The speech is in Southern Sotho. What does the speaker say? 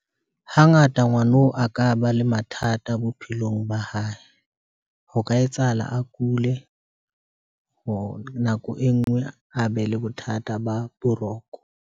Hangata ngwano a ka ba le mathata bophelong ba hae, ho ka etsahala a kule, or nako e ngwe a be le bothata ba boroko.